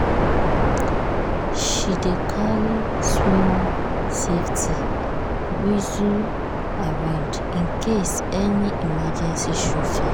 she dey carry small um safety um whistle around in case any um emergency show face.